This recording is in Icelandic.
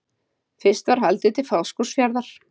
Fyrst var haldið til Fáskrúðsfjarðar.